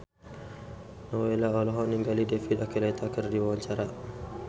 Nowela olohok ningali David Archuletta keur diwawancara